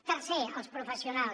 tercer els professionals